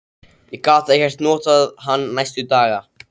Ég gat ekkert notað hann næstu daga.